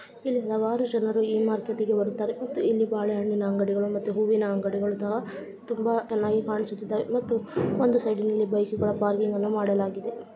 ಇಲ್ಲಿ ಹಲವಾರು ಜನರು ಈ ಮಾರ್ಕೆಟಿಗೆ ಬರುತ್ತಾರೆ ಮತ್ತು ಇಲ್ಲಿ ಬಾಳೆಹಣ್ಣಿನ ಅಂಗಡಿಗಳು ಮತ್ತೆ ಹೂವಿನ ಅಂಗಡಿಗಳು ಅಥವಾ ತುಂಬಾ ಚೆನ್ನಾಗಿ ಕಾಣಿಸುತ್ತಿದ್ದವೆ ಮತ್ತು ಒಂದು ಸೈಡಿ ನಲ್ಲಿ ಬೈಕು ಗಳ ಪಾರ್ಕಿಂಗ್ಅನ್ನು ಮಾಡಲಾಗಿದೆ.